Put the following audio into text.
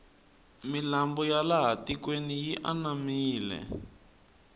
milambo ya laha tikweni yi anamile